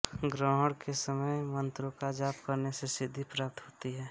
ग्रहण के समय में मंत्रों का जाप करने से सिद्धि प्राप्त होती है